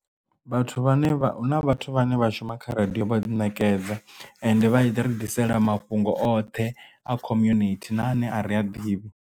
Vhathu vhane vha hu na vhathu vhane vha shuma kha radio vha ḓinekedza ende vha ḓi ri ḓisela mafhungo oṱhe a community na ane a ri a ḓivhi.